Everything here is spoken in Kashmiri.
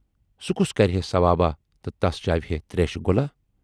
سُہ کُس کرِہے ثواباہ تہٕ تس چاوِہے تریشہِ گولا۔